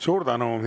Suur tänu!